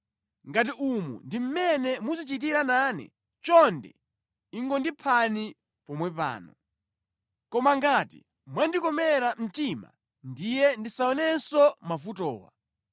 Ngati umu ndi mmene muzichitira nane, chonde ingondiphani pompano. Koma ngati mwandikomera mtima ndiye ndisaonenso mavutowa.”